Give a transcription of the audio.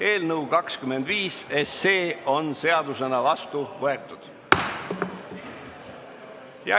Eelnõu 25 on seadusena vastu võetud.